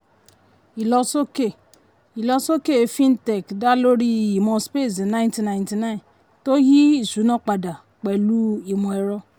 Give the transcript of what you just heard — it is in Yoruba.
ìlọsókè ìlọsókè fintech dá lórí imọ̀ space nineteen ninety nine tó yí ìṣúná padà pẹ̀lú imọ ẹrọ.